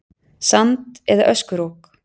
Sand- eða öskurok.